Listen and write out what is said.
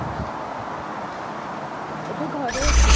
ଏବେ ଘରେ ଅଛି